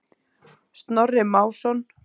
Snorri Másson.